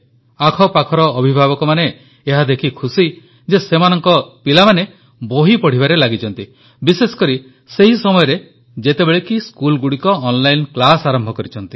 ଆଖପାଖର ଅଭିଭାବକମାନେ ଏହା ଦେଖି ଖୁସି ଯେ ସେମାନଙ୍କ ପିଲାମାନେ ବହି ପଢ଼ିବାରେ ଲାଗଛନ୍ତି ବିଶେଷକରି ସେହି ସମୟରେ ଯେତେବେଳେ କି ସ୍କୁଲଗୁଡ଼ିକ ଅନ୍ଲାଇନ୍ କ୍ଲାସ୍ ଆରମ୍ଭ କରିଛନ୍ତି